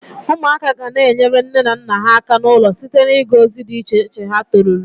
Umuaka gana-enyere nne na nna ha aka n'ulo site na-iga ozi di iche ha toruru.